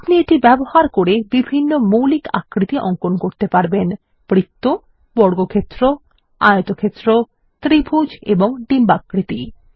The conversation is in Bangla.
আপনি এটি ব্যবহার করে বিভিন্ন মৌলিক আকৃতি অঙ্কন করতে পারবেন বৃত্ত বর্গক্ষেত্র আয়তক্ষেত্র ত্রিভুজ এবং ডিম্বাকৃতি